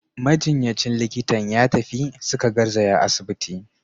Majinyacin likitan ya tafi, suka garzaya asibiti.